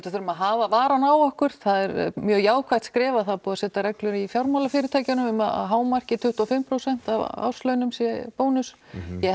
þurfum að hafa varann á okkur það er mjög jákvætt skref að það er búið að setja reglur í fjármálafyrirtækjunum um að hámarki tuttugu og fimm prósent af árslaunum sé bónus ég